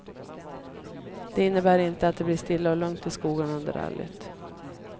Det innebär inte att det blir stilla och lugnt i skogarna under rallyt.